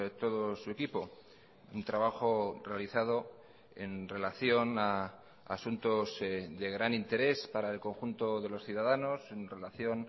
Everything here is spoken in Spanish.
todo su equipo un trabajo realizado en relación a asuntos de gran interés para el conjunto de los ciudadanos en relación